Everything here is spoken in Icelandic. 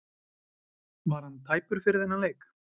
Var hann tæpur fyrir þennan leik?